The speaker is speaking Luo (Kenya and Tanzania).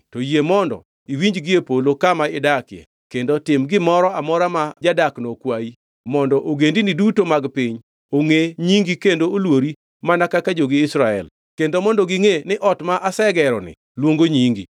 to yie mondo iwinji gie polo kama idakie kendo tim gimoro amora ma jadakno okwayi, mondo ogendini duto mag piny ongʼe nyingi kendo oluori mana kaka jogi Israel, kendo mondo gingʼe ni ot ma asegeroni luongo nyingi.